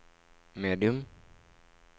medium